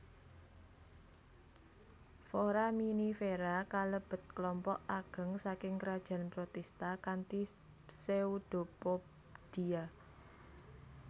Foraminifera kalebet klompok ageng saking krajan protista kanthi pseudopodia